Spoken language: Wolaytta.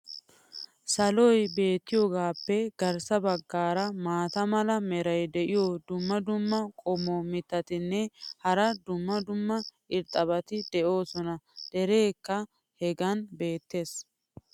saloy beetiyaagaappe garssa bagaara maata mala meray diyo dumma dumma qommo mitattinne hara dumma dumma irxxabati de'oosona. dereekka hegan beetees.